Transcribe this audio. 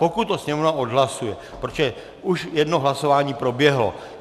Pokud to Sněmovna odhlasuje, protože už jedno hlasování proběhlo.